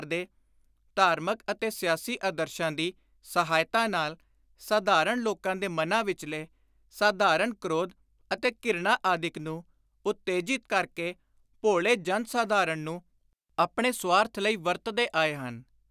ਦੇ ਧਾਰਮਕ ਅਤੇ ਸਿਆਸੀ ਆਦਰਸ਼ਾਂ ਦੀ ਸਹਾਇਤਾ ਨਾਲ, ਸਾਧਾਰਣ ਲੋਕਾਂ ਦੇ ਮਨਾਂ ਵਿਚਲੇ ਸਾਧਾਰਣ ਕ੍ਰੋਧ ਅਤੇ ਘਿਰਣਾ ਆਦਿਕ ਨੂੰ ਉਤੇਜਿਤ ਕਰ ਕੇ ਭੋਲੇ ਜਨ-ਸਾਧਾਰਣ ਨੂੰ ਆਪਣੇ ਸਆਰਥ ਲਈ ਵਰਤਦੇ ਆਏ ਹਨ।